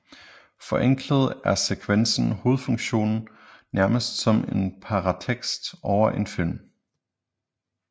Forenklet er sekvensens hovedfunktion nærmest som en paratekst over en film